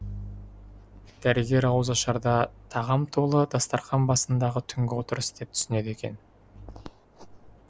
дәрігер ауызашарды тағам толы дастархан басындағы түнгі отырыс деп түсінеді екен